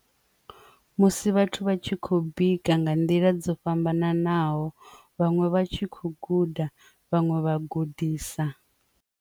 Musi vhathu vha tshi khou bika nga nḓila dzo fhambananaho vhaṅwe vha tshi khou guda vhaṅwe vha gudisa.